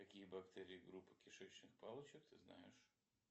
какие бактерии группы кишечных палочек ты знаешь